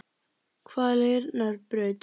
Hvaleyrarbraut